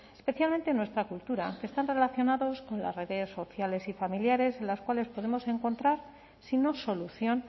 especialmente en nuestra cultura que están relacionados con las redes sociales y familiares en las cuales podemos encontrar si no solución